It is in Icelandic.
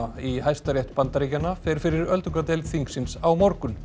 í Hæstarétt Bandaríkjanna fer fyrir öldungadeild þingsins á morgun